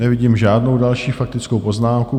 Nevidím žádnou další faktickou poznámku.